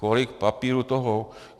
Kolik papíru toho?